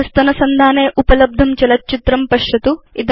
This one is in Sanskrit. अधस्तनसंधाने उपलब्धं चलच्चित्रं पश्यतु